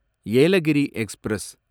Yelagiri express